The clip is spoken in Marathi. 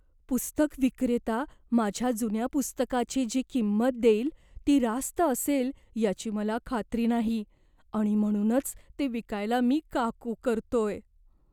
पुस्तकविक्रेता माझ्या जुन्या पुस्तकाची जी किंमत देईल ती रास्त असेल याची मला खात्री नाही आणि म्हणूनच ते विकायला मी का कू करतोय.